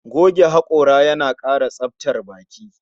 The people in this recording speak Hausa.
Goge hakora yana kara tsabtar baki